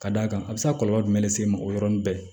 Ka d'a kan a bɛ se ka kɔlɔlɔ jumɛn le se mɔgɔ yɔrɔnin bɛɛ